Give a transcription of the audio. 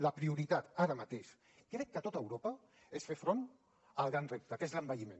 la prioritat ara mateix crec que a tot europa és fer front al gran repte que és l’envelliment